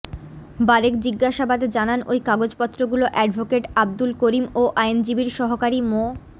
বারেক জিজ্ঞাসাবাদে জানান ওই কাগজপত্রগুলো অ্যাডভোকেট আব্দুল করিম ও আইনজীবীর সহকারী মো